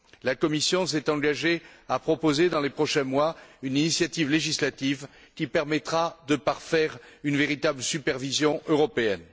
La Commission s'est engagée à proposer dans les prochains mois une initiative législative qui permettra de parfaire une véritable supervision européenne.